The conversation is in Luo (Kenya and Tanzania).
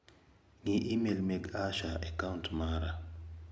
Ng'i imel mag Asha e kaunt mara.